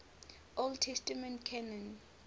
old testament canon